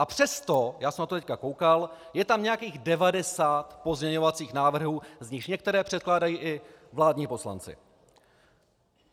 A přesto, já jsem na to teď koukal, je tam nějakých 90 pozměňovacích návrhů, z nichž některé předkládají i vládní poslanci.